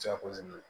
Jako